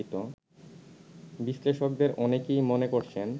বিশ্লেষকদের অনেকেই মনে করছেন